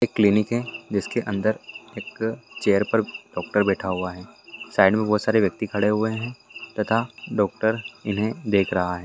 एक क्लिनिक है जिसके अंदर एक चेयर पर एक डॉक्टर बैठा हुआ है साइड में बहुत सारे व्यक्ति खड़े हुए हुए है तथा डॉक्टर इन्हे देख रहा है।